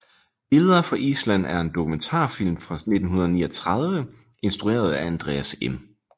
Billeder fra Island er en dokumentarfilm fra 1939 instrueret af Andreas M